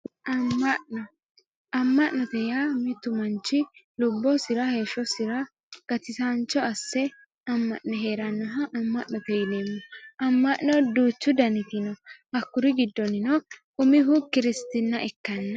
amma'no amma'note yaa mittu manch lubbosira, heeshosira gatisaancho asse amma'ne heerannoha amma'note yinanni amma'no duuchu daniti no hakkuri giddonino umihu kiristina ikkanno.